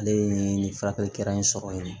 Ale ye nin furakɛli kɛra in sɔrɔ yen